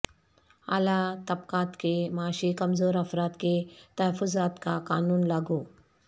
اعلی طبقات کے معاشی کمزور افراد کے تحفظات کا قانون لاگو